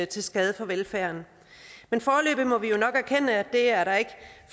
til skade for velfærden men foreløbig må vi jo nok erkende at det er der ikke